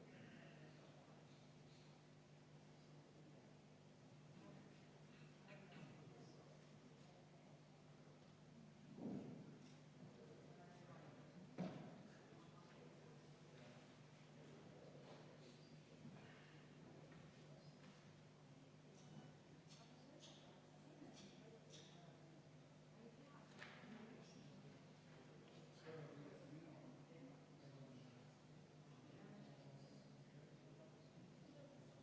12. muudatusettepanek, esitatud Sotsiaaldemokraatliku Erakonna fraktsiooni poolt, juhtivkomisjon on jätnud arvestamata.